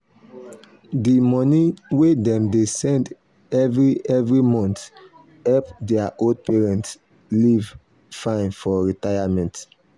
the money wey dem dey send every every month help their old parents live fine for retirement.